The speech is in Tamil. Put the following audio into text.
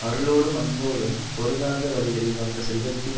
அருளோடும் அன்போடும் பொருந்தாத வழிகளில் வந்த செல்வத்தின்